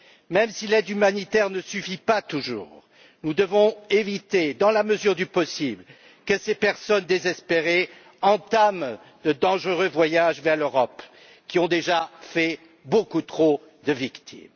Même si l'aide humanitaire ne suffit pas toujours, nous devons éviter, dans la mesure du possible, que ces personnes désespérées entament le dangereux voyage vers l'Europe, qui a déjà fait beaucoup trop de victimes.